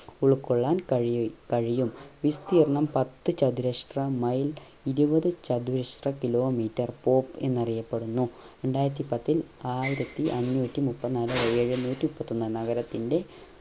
ഉൾക്കൊള്ളാൻ കഴിയ കഴിയും വിസ്തീർണം പത്തു ചതുരഷ്ട്ര mile ഇരുവത് ചതുരഷ്ട്ര kilo meter pop എന്നറിയപ്പെടുന്നു രണ്ടായിരത്തില്പത്തിൽ ആയിരത്തി അഞ്ഞൂറ്റി മുപ്പത്തിനാല് എഴുനൂറ്റി മുപ്പത്തൊന്നു നഗരത്തിന്റെ